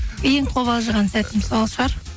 ең қобалжыған сәтім сол шығар